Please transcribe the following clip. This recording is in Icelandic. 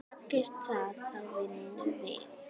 Takist það þá vinnum við.